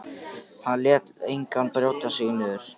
Hann lét engan brjóta sig niður.